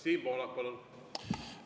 Siim Pohlak, palun!